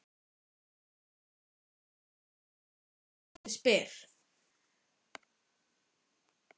Hann segist heita Steini þegar bjössi spyr.